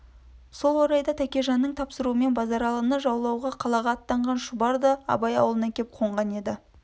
сол орайда тәкежанның тапсыруымен базаралыны жаулауға қалаға аттанған шұбар да абай аулына кеп қонған еді